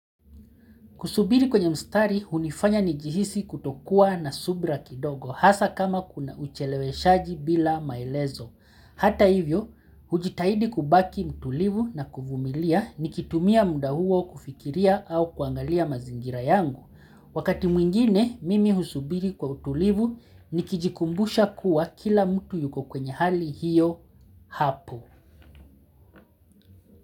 Kusubiri kwenye mstari unifanya ni jihisi kutokua na subira kidogo hasa kama kuna ucheleweshaji bila maelezo. Hata hivyo, hujitahidi kubaki mtulivu na kuvumilia ni kitumia muda huo kufikiria au kuangalia mazingira yangu. Wakati mwingine, mimi husubiri kwa utulivu ni kijikumbusha kuwa kila mtu yuko kwenye hali hiyo hapo.